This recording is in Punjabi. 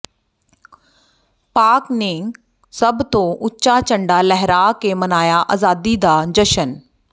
ਪਾਕਿ ਨੇ ਸਭ ਤੋਂ ਉੱਚਾ ਝੰਡਾ ਲਹਿਰਾ ਕੇ ਮਨਾਇਆ ਆਜ਼ਾਦੀ ਦਾ ਜਸ਼ਨ